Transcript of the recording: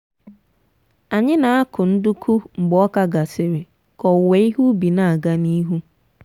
anyị na-akụ nduku mgbe ọka gasịrị ka owuwe ihe ubi na-aga n'ihu.